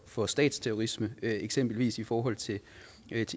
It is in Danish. for statsterrorisme eksempelvis i forhold til